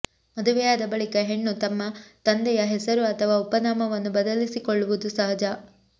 ಮದುವೆಯಾದ ಬಳಿಕ ಹೆಣ್ಣು ತಮ್ಮ ತಂದೆಯ ಹೆಸರು ಅಥವಾ ಉಪನಾಮವನ್ನು ಬದಲಿಸಿಕೊಳ್ಳುವುದು ಸಹಜ